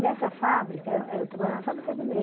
Nessa fábrica, eh eu trabalhava na fábrica de meia.